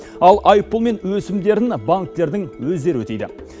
ал айыппұл мен өсімдерін банктердің өздері өтейді